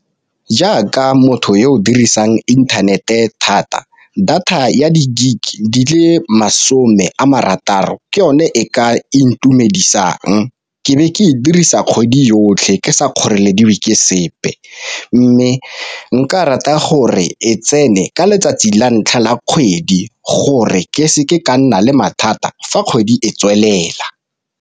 Jaaka motho yo o dirisang inthanete thata data ya di-gig di le masome a marataro ke yone e ka intumedisang, ke be ke e dirisa kgwedi yotlhe ke sa kgorelediwe ke sepe. Mme nka rata gore e tsene ka letsatsi la ntlha la kgwedi gore ke seke ka nna le mathata fa kgwedi e tswelela.